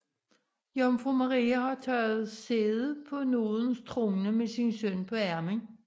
Jomfru Maria har taget sæde på nådens trone med sin søn på armen